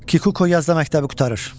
Kikuko yazda məktəbi qurtarır.